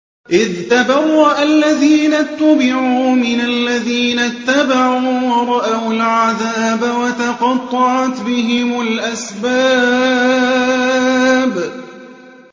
إِذْ تَبَرَّأَ الَّذِينَ اتُّبِعُوا مِنَ الَّذِينَ اتَّبَعُوا وَرَأَوُا الْعَذَابَ وَتَقَطَّعَتْ بِهِمُ الْأَسْبَابُ